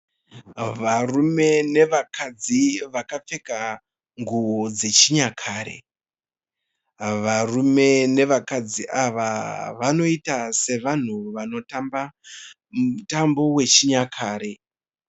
Varume nevakadzi vakapfeka nguwo dzechinyare. Varume nevakadzi ava vanoiita sevanhu vanotamba mutambo wechinyakare.